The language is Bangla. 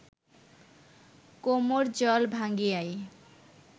কোমড় জল ভাঙ্গিয়াই